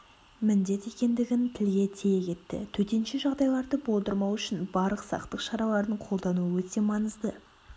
міндет екендігін тілге тие кетті төтенше жағдайларды болдырмау үшін барлық сақтық шараларын қолдану өте маңызды